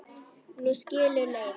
Nú skilur leiðir.